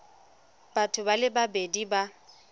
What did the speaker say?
batho ba le babedi ba